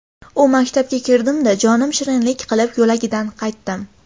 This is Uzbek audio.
U maktabga kirdimda, jonim shirinlik qilib, yo‘lagidan qaytdim.